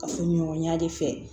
Kafoɲɔgɔnya de fɛ